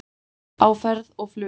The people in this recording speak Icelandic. Á ferð og flugi